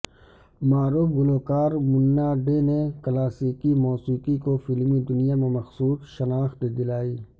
معروف گلوکار منا ڈے نے کلاسیکی موسیقی کو فلمی دنیا میں مخصوص شناخت دلائی